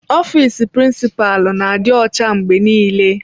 Ofiisi prinsipalu na-adị ọcha mgbe niile.